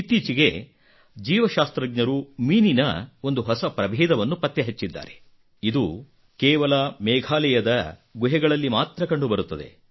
ಇತ್ತೀಚೆಗೆ ಜೀವಶಾಸ್ತ್ರಜ್ಞರು ಮೀನಿನ ಒಂದು ಹೊಸ ಪ್ರಭೇದವನ್ನು ಪತ್ತೆ ಹಚ್ಚಿದ್ದಾರೆ ಇದು ಕೇವಲ ಮೇಘಾಲಯದ ಗುಹೆಗಳೊಳಗೆ ಮಾತ್ರ ಕಂಡುಬರುತ್ತದೆ